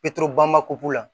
la